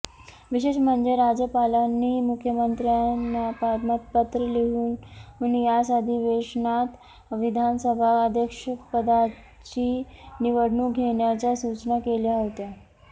विशेष म्हणजे राज्यपालांनी मुख्यमंत्र्यांना पत्रं लिहून याच अधिवेशनात विधानसभा अध्यक्षपदाची निवडणूक घेण्याच्या सूचना केल्या होत्या